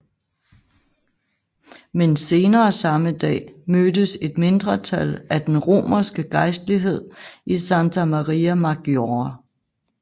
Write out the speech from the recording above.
Men senere samme dag mødtes et mindretal af den romerske gejstlighed i Santa Maria Maggiore